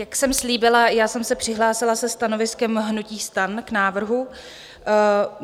Jak jsem slíbila, já jsem se přihlásila se stanoviskem hnutí STAN k návrhu.